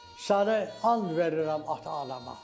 Səni and verirəm ata anama.